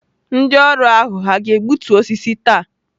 Ndị ọrụ ahụ hà ga-egbutu osisi taa?